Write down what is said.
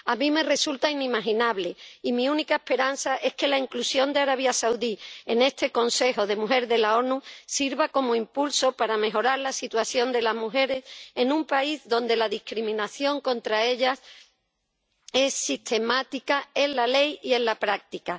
A mí me resulta inimaginable, y mi única esperanza es que la inclusión de Arabia Saudí en esta Comisión de la ONU sobre la mujer sirva como impulso para mejorar la situación de las mujeres en un país donde la discriminación contra ellas es sistemática en la ley y en la práctica.